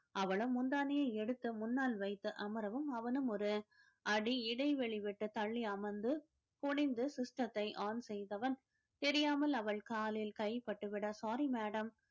அவளும் முந்தானையை எடுத்து முன்னால் வைத்து அமரவும் அவனும் ஒரு அடி இடைவெளி விட்டுத் தள்ளி அமர்ந்து குனிந்து system த்தை on செய்தவன் தெரியாமல் அவள் காலில் கை பட்டு விட sorry madam